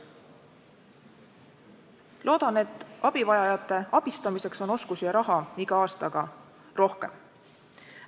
Loodan, et abivajajate abistamiseks on oskusi ja raha iga aastaga rohkem.